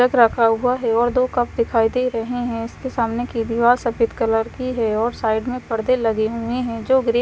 रखा हुआ है और दो कप दिखाई दे रहे है और इसके सामने की दिवाल सफेद कलर की है और साइड में पर्दे लगे हुए है जो ग्रे --